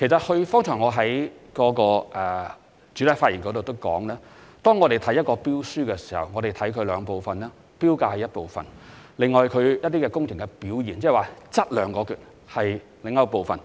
我剛才在主體答覆已有提到，在審視一份標書時，我們會分兩部分作出評估，投標價是一個部分，而工程表現則為另一部分。